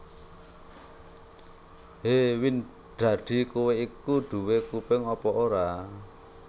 Hé Windradi kowé iku duwé kuping apa ora